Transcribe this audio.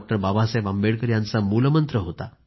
बाबासाहेब आंबेडकर यांचा मूलमंत्र होता